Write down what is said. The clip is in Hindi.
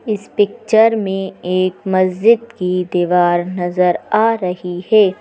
इस पिक्चर में एक मस्जिद की दीवार नजर आ रही है।